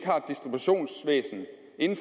ikke